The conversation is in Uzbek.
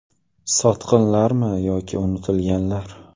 Sotqinlarmi yoki unutilganlar?